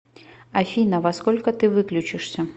афина во сколько ты выключишься